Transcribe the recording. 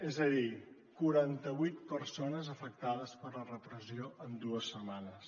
és a dir quaranta vuit persones afectades per la repressió en dues setmanes